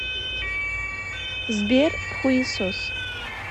сбер хуесос